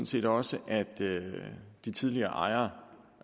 set også at de tidligere ejere